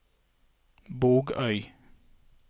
Bogøy